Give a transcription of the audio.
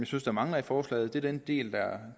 synes mangler i forslaget det er den del der